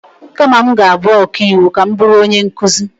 Kama m ga-abụ ọkaiwu, ka m bụrụ onye nkụzi.